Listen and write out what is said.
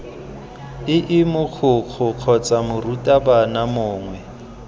ii mogokgo kgotsa morutabana mongwe